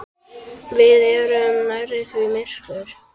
Við erum nærri því myrkur